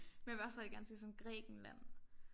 Men jeg vil også rigtig gerne til sådan Grækenland